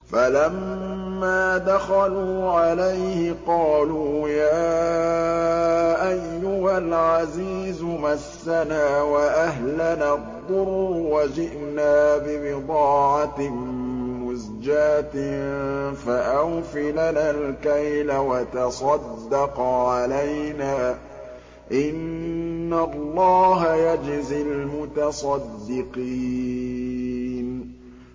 فَلَمَّا دَخَلُوا عَلَيْهِ قَالُوا يَا أَيُّهَا الْعَزِيزُ مَسَّنَا وَأَهْلَنَا الضُّرُّ وَجِئْنَا بِبِضَاعَةٍ مُّزْجَاةٍ فَأَوْفِ لَنَا الْكَيْلَ وَتَصَدَّقْ عَلَيْنَا ۖ إِنَّ اللَّهَ يَجْزِي الْمُتَصَدِّقِينَ